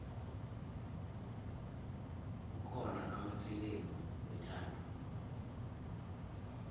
kukhona amafilimu wethando